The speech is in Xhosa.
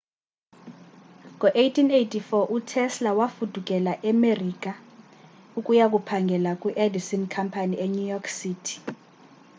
ngo-1884 utesla wafudukela emerika ukuyakuphangela kwiedison company enew york city